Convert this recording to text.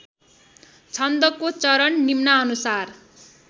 छन्दको चरण निम्नानुसार